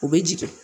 U bɛ jigin